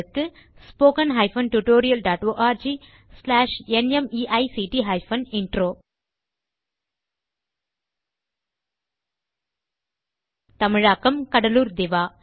spoken hyphen tutorial dot org slash நிமைக்ட் hyphen intro தமிழாக்கம் கடலூர் திவா